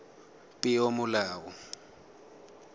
peomolao